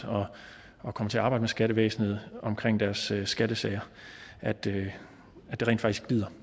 og kommer til at arbejde med skattevæsenet omkring deres skattesager at det rent faktisk glider